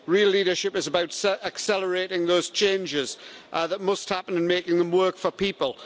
Real leadership is about accelerating those changes that must happen and making them work for people.